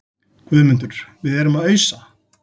GUÐMUNDUR: Við erum að ausa.